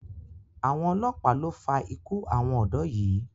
Àwọn ọlọ́pàá lo fa ikú àwọn ọ̀dọ́ yìí.